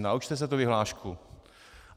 Naučte se tu vyhlášku.